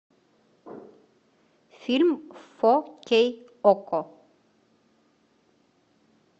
фильм фо кей окко